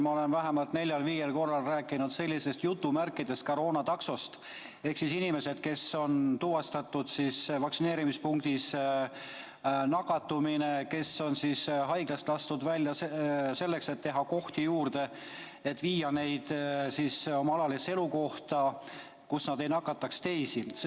Ma olen vähemalt neljal-viiel korral rääkinud sellisest "koroonataksost", millega siis inimesi, kellel on tuvastatud nakatumine ja kes on haiglast lastud välja selleks, et teha kohti juurde, viiakse nende alalisse elukohta, nii et nad ei nakataks teisi.